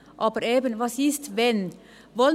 Aber eben: Was ist wenn …?